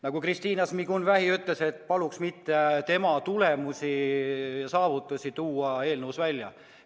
Nagu Kristina Šmigun-Vähi ütles, et paluks mitte tema tulemusi ja saavutusi eelnõuga seoses välja tuua.